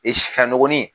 sifannɔgɔnin